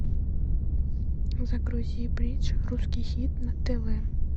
загрузи бридж русский хит на тв